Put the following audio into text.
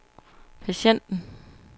patienten